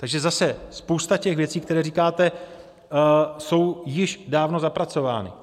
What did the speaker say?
Takže zase, spousta těch věcí, které říkáte, jsou již dávno zapracovány.